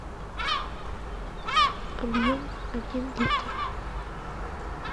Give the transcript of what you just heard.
объем один литр